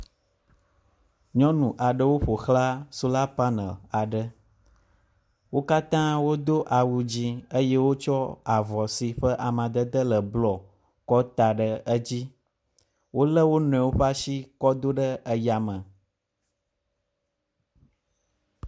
Nyɔnu aɖewo ƒoxla sola panel aɖe. wo katã wodo awu dzi eye wodo avɔ si ƒe amedede le blɔ ka ta ɖe edzi. Wo le wo nɔewo ƒe asi kɔ do ɖe yame.